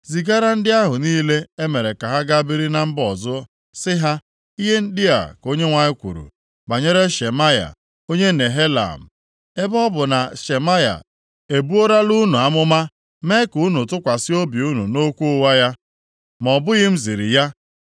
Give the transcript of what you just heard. “Zigara ndị ahụ niile e mere ka ha gaa biri na mba ọzọ ozi sị ha, ‘Ihe ndị a ka Onyenwe anyị kwuru banyere Shemaya onye Nehelam, Ebe ọ bụ na Shemaya ebuorola unu amụma mee ka unu tụkwasị obi unu nʼokwu ụgha ya, ma ọ bụghị m ziri ya,